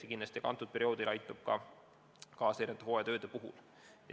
Ja kindlasti aitab see ka leida hooajatööde tegijaid.